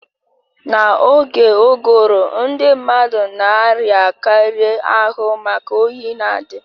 Na-oge uguru ndị mmadụ na-arịa karị ahụ maka oyi na-adi